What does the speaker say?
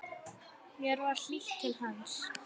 Mér var hlýtt til hans.